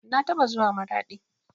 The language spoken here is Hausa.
Na taɓa zuwa maraɗi